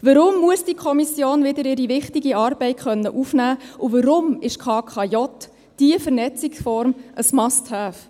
Warum muss diese Kommission wieder ihre wichtige Arbeit aufnehmen können, und warum ist die KKJ die richtige Vernetzungsform und ein Must-have?